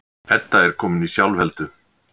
Edda er komin í sjálfheldu.